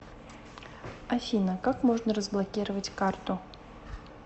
афина как можно разблокировать карту